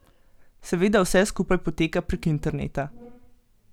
Seveda vse skupaj poteka prek interneta.